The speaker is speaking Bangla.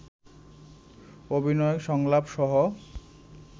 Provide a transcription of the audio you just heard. অভিনয়, সংলাপ সহ